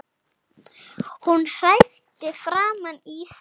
Hún hrækti framan í þig